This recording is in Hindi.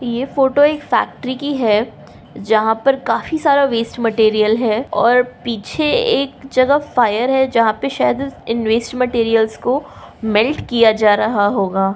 ये फोटो एक फैक्ट्री की है। जहाँ पर काफी सारा वेस्ट मटेरियल है और पीछे एक जगह फायर है जहाँ पाय शायद इन वेस्ट मेटेरियल्स को मेेल्ट किया जा रहा होगा ।